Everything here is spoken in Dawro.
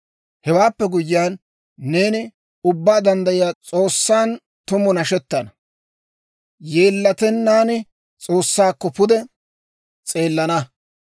«Hewaappe guyyiyaan, neeni Ubbaa Danddayiyaa S'oossan tumu nashettana; yeellatennaan S'oossaakko pude s'eelana.